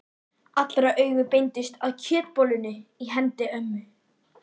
Allra augu beindust að kjötbollunni í hendi ömmu.